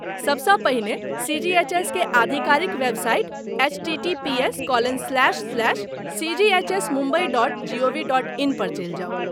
सबसँ पहिने सी.जी.एच.एस. के आधिकारिक website HTTPS colon slash slash सीजीएचएसमुम्बई dot G O V dot in पर चलि जाउ।